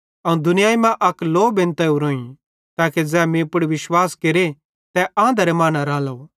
अवं दुनियाई मां अक लौ बेंतां ओरोईं ताके ज़ै मीं पुड़ विश्वास केरे तै आंधरे मां न रालो